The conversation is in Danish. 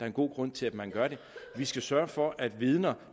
en god grund til at man gør det vi skal sørge for at vidner